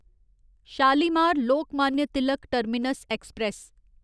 Shalimar Lokmanya Tilak terminus express